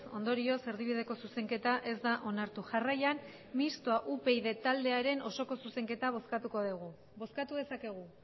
ondorioz erdibideko zuzenketa ez da onartu jarraian mistoa upyd osoko zuzenketa bozkatuko dugu bozkatu dezakegu